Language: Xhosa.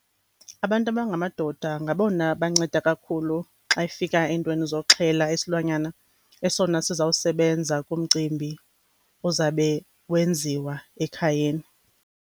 Abantu abangamadoda ngabona banceda kakhulu xa ifika eentweni zokuxhela isilwanyana esona sizawusebenza kumcimbi uzawube wenziwa ekhayeni.